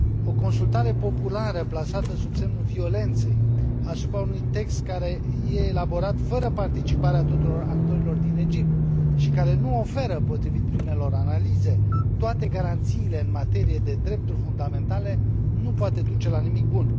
O consultare populară plasată sub semnul violenței asupra unui text care e elaborat fără participarea tuturor actorilor din Egipt și care nu oferă, potrivit primelor analize, toate garanțiile în materie de drepturi fundamentale nu poate duce la nimic bun.